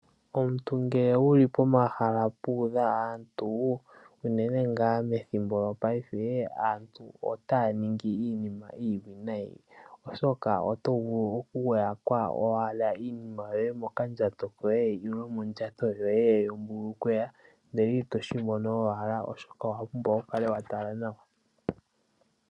Omuntu ngele wuli pomahala puudha aantu, unene ngaa methimbo lyopaife aantu otaya ningi iinima iiwinayi oshoka oto vulu oku yakwa owala iinima yoye mokandjato koye nenge mondjato yoye yombulukweya ndele ito shi mono owala oshoka owa pumbwa oku kala wa tala nawa.